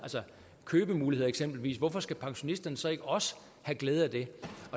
købemuligheder eksempelvis hvorfor skal pensionisterne så ikke også have glæde af det